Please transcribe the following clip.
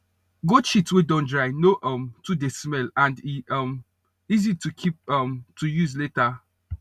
goat shit wey don dry no um too dey smell and e um easy to keep um to use later